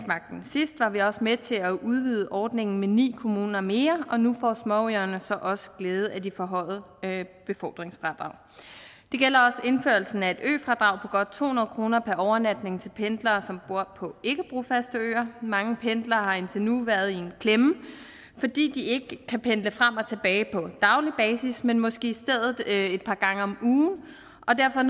sidst var vi også med til at udvide ordningen med ni kommuner mere og nu får småøerne så også glæde af de forhøjede befordringsfradrag det gælder også indførelsen af et øfradrag på godt to hundrede kroner per overnatning til pendlere som bor på ikkebrofaste øer mange pendlere har indtil nu været i en klemme fordi de ikke kan pendle frem og tilbage på daglig basis men måske i stedet et par gange om ugen og derfor er